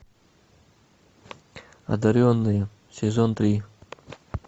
одаренные сезон три